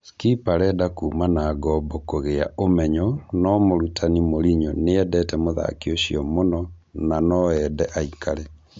Skipp arenda kuma na ngombo kũgĩa ũmenyo no mũrutani Mourinho nĩendete mũthaki ũcio mũno nanoende aikare